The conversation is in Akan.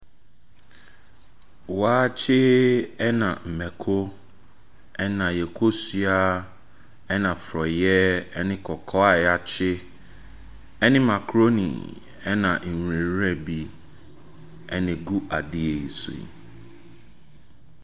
Waakye na mmako, ɛnna yɛn kosua na forɔeɛ ne kɔkɔɔ a wɔakye, ne macaroni na nwira bi na ɛgu adeɛ yi so yi.